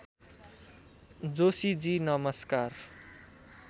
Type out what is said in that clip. जोशीजी नमस्कार